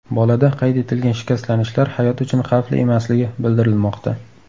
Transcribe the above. Bolada qayd etilgan shikastlanishlar hayot uchun xavfli emasligi bildirilmoqda.